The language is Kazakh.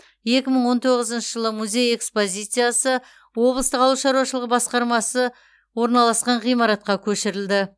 екі мың он тоғызыншы жылы музей экспозициясы облыстық ауыл шаруашылығы басқармасы орналасқан ғимаратқа көшірілді